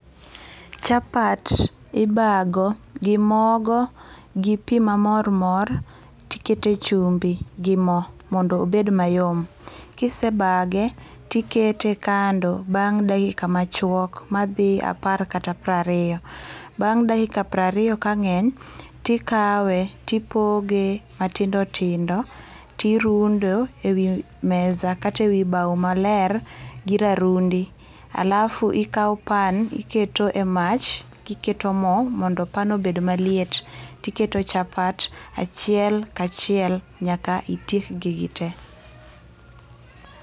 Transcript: Chapat ibago gi mogo gi pii mamor mor tikete chumbi gi moo mondo obed mayom, kisebage tikete kando bang dakika achwok madhi 10 kata 20. Bang dakika 20 ka ngeny tikawe tipoge matindo tindo tirundo ewi mesa kata ewi bao maler gi rarundi. Alafu ikaw pan iketo e mach tiketo moo mondo pan obed maliet tiketo chapat achiel ka achiel nyaka itiek gi gitee